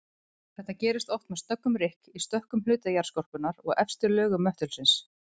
Þetta gerist oft með snöggum rykk í stökkum hluta jarðskorpunnar og efstu lögum möttulsins.